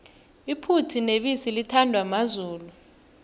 iphuthu nebisi lithandwa mazulu